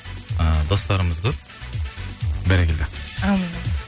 ы достарымыз көп бәрекелді әумин